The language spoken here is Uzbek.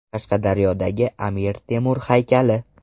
Qashqadaryodagi Amir Temur haykali.